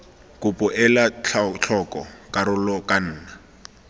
kopo ela tlhoko karolo kana